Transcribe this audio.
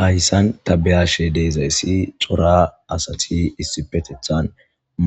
Hayissani ta beyashe dizayisi kehi corra assati issipetethani